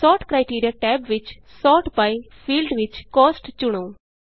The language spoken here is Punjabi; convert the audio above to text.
ਸੋਰਟ criteriaਟੈਬ ਵਿਚSort byਫੀਲਡ ਵਿਚ Costਚੁਣੋ